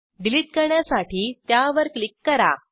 delete करण्यासाठी त्यावर click करा